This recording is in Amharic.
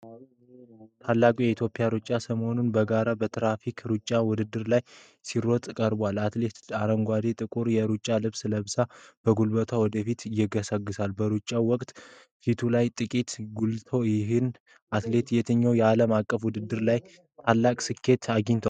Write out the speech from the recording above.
ታላቁ የኢትዮጵያ ሯጭ ሰለሞን ባረጋ በትራክ ሩጫ ውድድር ላይ ሲሮጥ ቀርቧል። አትሌቱ አረንጓዴና ጥቁር የሩጫ ልብስ ለብሶ፣ በጉልበት ወደፊት ይገሰግሳል። በሩጫው ወቅት ፊቱ ላይ ጥንቃቄ ጎልቷል። ይህ አትሌት የትኞቹ ዓለም አቀፍ ውድድሮች ላይ ታላቅ ስኬት አግኝቷል?